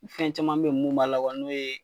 Fɛn caman be ye mun b'a la kuwa n'o ye